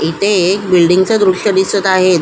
इथे एक बिल्डिंगच दृश्य दिसत आहे.